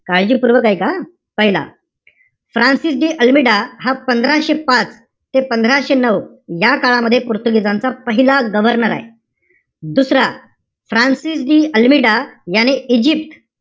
काळजीपूर्वक ऐका हां. पहिला, फ्रान्सिस डी अल्मिडा हा पंधराशे पाच ते पंधराशे नऊ, या काळामध्ये पोर्तुगिजांचा पहिला governor आहे. दुसरा, फ्रान्सिस डी अल्मिडा, याने इजिप्त,